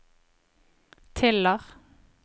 Tiller